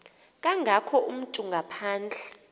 kangako umntu ngaphandle